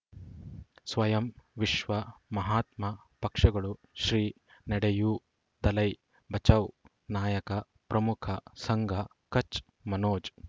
ಸ್ವಯಂ ವಿಶ್ವ ಮಹಾತ್ಮ ಪಕ್ಷಗಳು ಶ್ರೀ ನಡೆಯೂ ದಲೈ ಬಚೌ ನಾಯಕ ಪ್ರಮುಖ ಸಂಘ ಕಚ್ ಮನೋಜ್